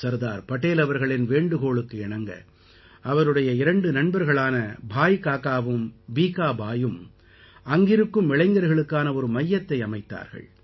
சர்தார் படேல் அவர்களின் வேண்டுகோளுக்கு இணங்க அவருடைய இரண்டு நண்பர்களான பாய் காகாவும் பீகா பாயியும் அங்கிருக்கும் இளைஞர்களுக்கான ஒரு மையத்தை அமைத்தார்கள்